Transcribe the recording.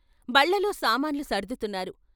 బళ్ళల్లో సామాన్లు సర్దుతున్నారు.